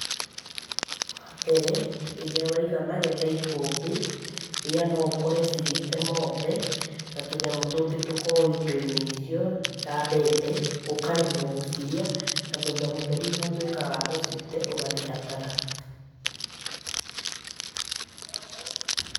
Wa mbere rĩrĩa waiga magetha ikũmbĩ, mbĩya no ũkore cirĩte mothe, na tũnyamũ tũngĩ tũkoragwo indo-inĩ icio, ta mbembe. Ũkaremwo gũcirĩa na thutha mũtheri ũgatuĩka wa gũcite ũgathiĩ hathara.